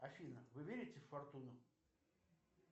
афина вы верите в фортуну